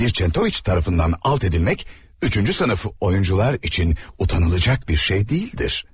Bir Çentoviç tərəfindən aut edilmək üçüncü sinif oyunçular üçün utanılacaq bir şey deyildir.